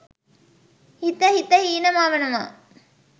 හිත හිත හීන මවනවා